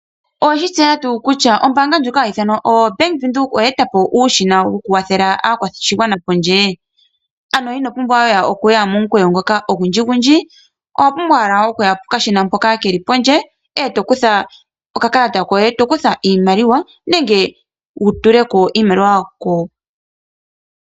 Owe shi tseya ngaa kutya ombaanga ndjoka hayi ithanwa o-Bank Windhoek oye eta po nuushina wokukwathela aakwashigwana pondje? Ano ino pumbwa okuya momukweyo ngoka ogundji gundji, owa pumbwa owala okuya pokashina hoka ke li pondje, eto kutha okakalata koye, eto kutha iimaliwa nenge wutuleko iimaliwa.